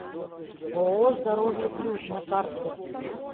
ооо здоровье плюс на карте